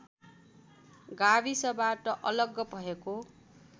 गाविसबाट अलग भएको